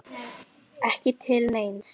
Ekki til neins?